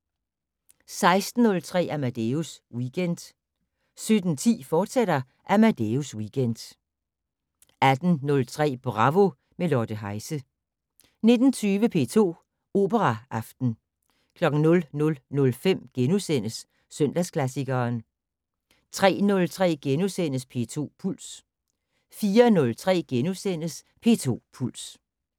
16:03: Amadeus Weekend 17:10: Amadeus Weekend, fortsat 18:03: Bravo - med Lotte Heise 19:20: P2 Operaaften 00:05: Søndagsklassikeren * 03:03: P2 Puls * 04:03: P2 Puls *